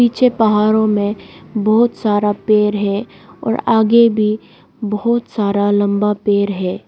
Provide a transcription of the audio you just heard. पीछे पहाड़ों में बहुत सारा पेड़ है और आगे भी बहुत सारा लंबा पेड़ है।